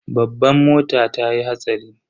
Babban mota tayi hatsari.